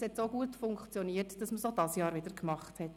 Das hat so gut funktioniert, dass man es dieses Jahr wiederholte.